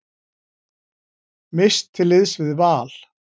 Mist til liðs við Val